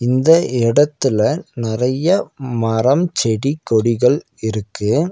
இந்த இடத்துல நெறைய மரம் செடி கொடிகள் இருக்கு.